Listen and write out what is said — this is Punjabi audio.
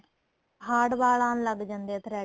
hard ਵਾਲ ਆਣ ਲੱਗ ਜਾਂਦੇ ਏ threading